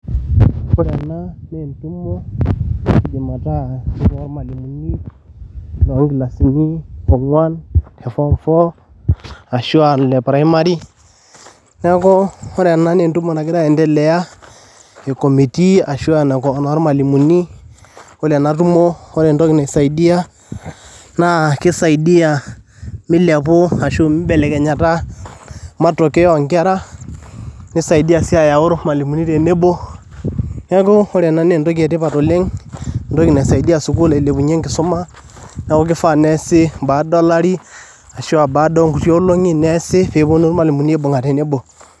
Ore ena nee entumo eidiim metaa entumo oo ormwalimuni ongiasini ongwan te form four ashu aa le primary neaku ore ena naa entumo nagira entelea e committee ashu aa enoo ormwalimuni ,ore ena tumo ore entoki neisaidia naa keisaidia meiliapu ashu meibelekenyata matokeo oonkera ,neisaidia sii ayau ormwalimuni tenebo ,neeku ore ena naa entoki etipat oleng entoki naisaidia sukuul ailepunye enkisoma neaku keifaa neasi baada e lari ashu abaada enkuti olong'i neasi peeponu ormwalimuni aibung'a tenebo.